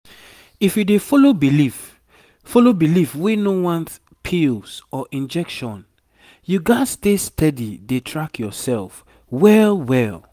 if you dey follow belief follow belief wey no want pills or injectionyou gats dey steady dey track yourself well well